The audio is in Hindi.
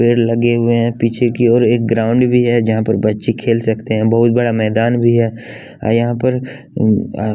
पेड़ लगे हुए हैं पीछे की ओर एक ग्राउंड भी है जहाँ पर बच्चे खेल सकते हैं बहुत बड़ा मैदान भी है और यहाँ पर उ आ --